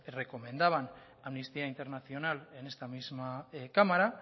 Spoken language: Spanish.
recomendaban amnistía internacional en esta misma cámara